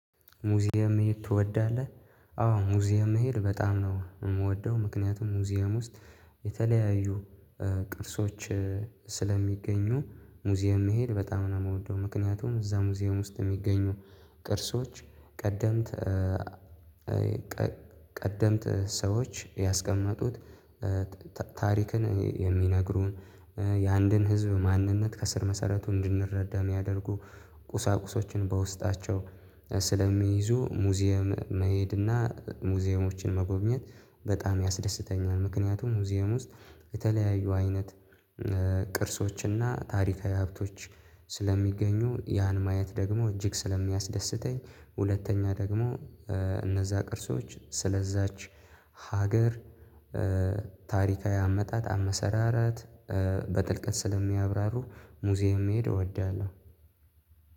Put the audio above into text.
ሙዚየም መሄድ ትወዳለህ? አዎ ሙዚየም መሄድ በጣም ነው የምወደው ምክንያቱም ሙዚየም ውስጥ የተለያዩ ቅርሶች ስለሚገኙ ሙዚየም መሄድ በጣም ነው የምወደው። ምክንያቱም እዛ ሙዚየም ውስጥ የሚገኙ ቅርሶች ቀደምት ቀደምት ሰዎች ያስቀመጡት ታሪክን የሚነግሩን የአንድን ህዝብ ማንነት ከስር መሰረቱን እንድንረዳ የሚያደርጉ ቁሳቁሶችን በውስጣቸው ስለሚይዙ ሙዚየም መሄድና ሙዚየሞችን መጎብኘት በጣም ያስደስተኛል። ምክንያቱም ሙዚየም ውስጥ የተለያዩ አይነት ቅርሶችና ታሪካዊ ሀብቶች ስለሚገኙ ያን ማየት ደግሞ እጅግ ስለሚያስደስተኝ ሁለተኛ ደግሞ እነዛ ቅርሶች ስለዛች ሀገር ታሪካዊ አመጣጥ አመሰራራት በጥልቀት ስለሚያብራሩ ሙዚየም መሄድ እወዳለሁ።